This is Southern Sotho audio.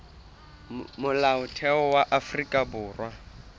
molaotheo wa afrika borwa o